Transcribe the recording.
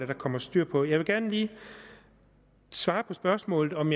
der kommer styr på jeg vil gerne lige svare på spørgsmålet om